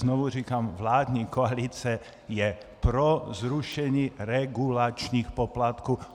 Znovu říkám, vládní koalice je pro zrušení regulačních poplatků.